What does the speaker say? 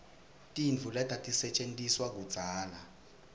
tintfo letatisetjentiswa kudzala